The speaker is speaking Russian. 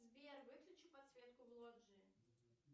сбер выключи подсветку в лоджии